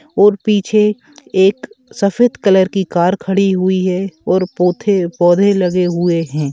और पीछे एक सफेद कलर की कार खड़ी हुई है और पोधे पौधे लगे हुए है।